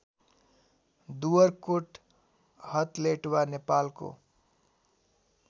दुवरकोट हथलेटवा नेपालको